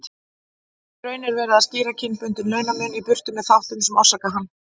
Í raun er verið að skýra kynbundinn launamun í burtu með þáttum sem orsaka hann.